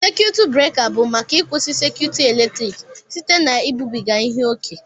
sékiyụtụ buréka bụ maka ịkwụsị sékiyụtụ eletrik site na ibubiga ihe ókè